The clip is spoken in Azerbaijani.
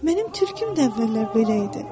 Mənim tülküm də əvvəllər belə idi.